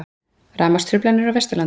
Rafmagnstruflanir á Vesturlandi